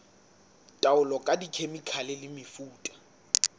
taolo ka dikhemikhale le mefuta